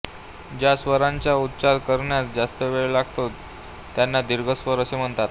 ज्या स्वरांचा उच्चार करण्यास जास्त वेळ लागतो त्यांना दीर्घ स्वर असे म्हणतात